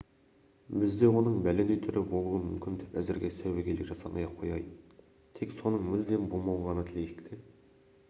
бізде оның бәлендей түрі болуы мүмкін деп әзірге сәуегейлік жасамай-ақ қояйын тек соның мүлдем болмауын ғана тілейік те